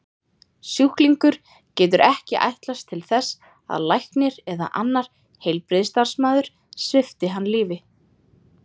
Sjúklingur getur ekki ætlast til þess að læknir eða annar heilbrigðisstarfsmaður svipti hann lífi.